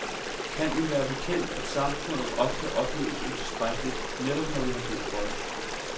Kan vi være bekendt, at samfundet ofte opleves utilstrækkeligt, netop når vi har brug for det?